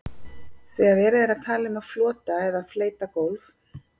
Þegar verið er að tala um flota eða fleyta gólf.